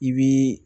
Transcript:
I bii